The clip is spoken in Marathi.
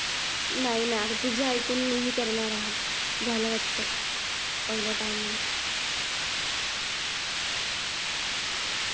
नाही ना तुझं ऐकून मी हि करणार आहे झालं वाट पाहिलं